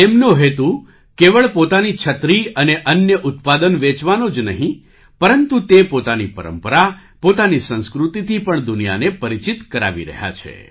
તેમનો હેતુ કેવળ પોતાની છત્રી અને અન્ય ઉત્પાદન વેચવાનો જ નહીં પરંતુ તે પોતાની પરંપરા પોતાની સંસ્કૃતિથી પણ દુનિયાને પરિચિત કરાવી રહ્યા છે